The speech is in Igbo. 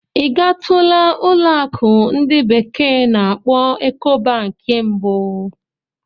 Ị gatula ụlọ akụ ndi bekee na-akpo Ecobanki mbụ?